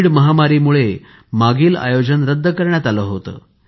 Covid महामारीमुळे मागील आयोजन रद्द करण्यात आले होते